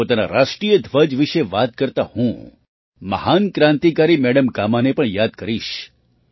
પોતાના રાષ્ટ્રીય ધ્વજ વિશે વાત કરતા હું મહાન ક્રાંતિકારી મેડમ કામાને પણ યાદ કરીશ